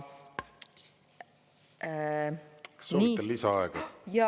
Kas soovite lisaaega?